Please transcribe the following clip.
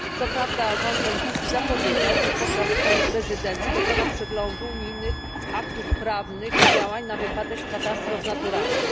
Co prawda rząd belgijski zapowiedział, że podczas swojej prezydencji dokona przeglądu unijnych aktów prawnych i działań na wypadek katastrof naturalnych.